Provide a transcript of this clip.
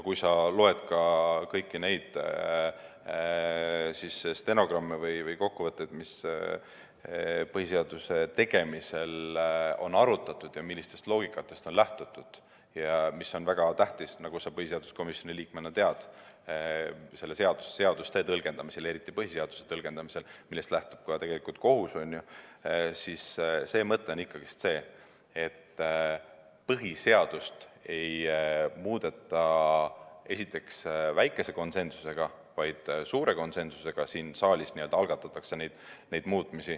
Kui sa loed kõiki neid stenogramme või kokkuvõtteid selle kohta, mida põhiseaduse tegemisel arutati ja millisest loogikast lähtuti, mis on väga tähtis, nagu sa põhiseaduskomisjoni liikmena tead, seaduste tõlgendamisel, eriti põhiseaduse tõlgendamisel, see on see, millest lähtub ka kohus, siis näed, et põhiseaduse mõte on ikkagi see, et esiteks põhiseadust ei muudeta, siin saalis ei algatata neid muutmisi väikese konsensusega, vaid suure konsensusega.